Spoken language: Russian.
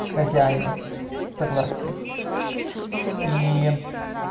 хозяина согласие и